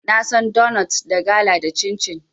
Na san donot, da gala, da cincin.